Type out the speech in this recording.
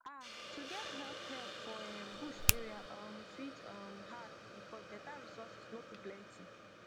ah to get health help for erm bush area um fit um hard because better resources no too plenty